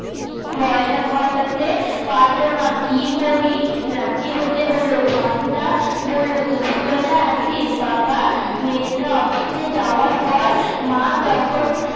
ময়লা খাওয়া টা তে পারব না কি করি রাজি হতে হল ঘন্টা বললো দুপুর বেলা আসিস বাবা মেজদা অফিসে যাওয়ার পর মা তখন